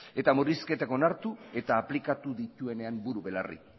eta murrizketak onartu eta aplikatu dituenean buru belarri